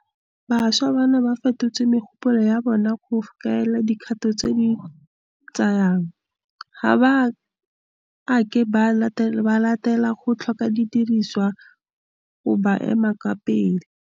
Bašwa bano ba fetotse megopolo ya bona go kaela dikgato tse ba di tsayang. Ga ba a ke ba letlelela go tlhoka didirisiwa go ba ema ka fa pele.